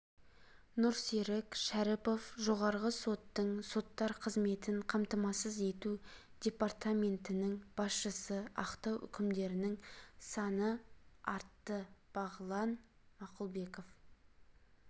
нұрсерік шәріпов жоғарғы соттың соттар қызметін қамтамасыз ету департаментінің басшысы ақтау үкімдерінің саны артты бағлан мақұлбеков